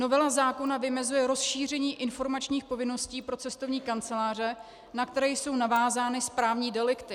Novela zákona vymezuje rozšíření informačních povinností pro cestovní kanceláře, na které jsou navázány správní delikty.